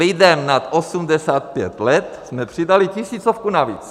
Lidem nad 85 let jsme přidali tisícovku navíc.